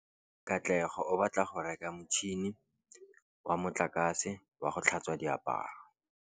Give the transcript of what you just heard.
Katlego o batla go reka motšhine wa motlakase wa go tlhatswa diaparo.